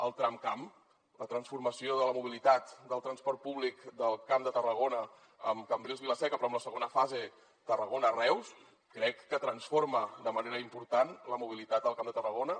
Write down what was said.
el tramcamp la transformació de la mobilitat del transport públic del camp de tarragona amb cambrils vilaseca però amb la segona fase tarragona reus crec que transforma de manera important la mobilitat al camp de tarragona